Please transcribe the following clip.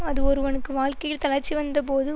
அது ஒருவனுக்கு வாழ்க்கையில் தளர்ச்சி வந்த போது